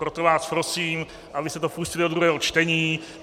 Proto vás prosím, abyste to pustili do druhého čtení.